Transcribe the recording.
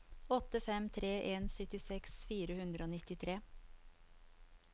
åtte fem tre en syttiseks fire hundre og nittitre